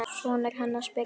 Sonur hennar? spyrja þeir.